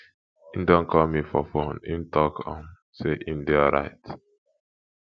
im don call me for fone im talk um sey im dey alright